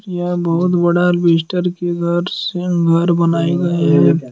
यह बहुत बड़ा से घर बनाई गई है।